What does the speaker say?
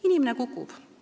Inimene kukub.